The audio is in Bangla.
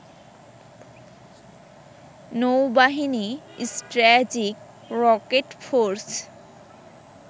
নৌবাহিনী, স্ট্র্যাজিক রকেট ফোর্স